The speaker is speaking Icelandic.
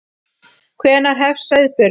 Hvenær hefst sauðburður?